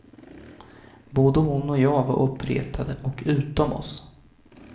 Både hon och jag var uppretade och utom oss.